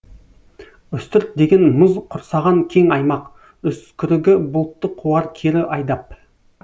үстірт деген мұз құрсаған кең аймақ үскірігі бұлтты қуар кері айдап